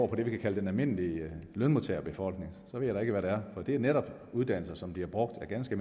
på det vi kan kalde den almindelige lønmodtagerbefolkning så ved jeg da ikke hvad det er det er netop uddannelser som bliver brugt af ganske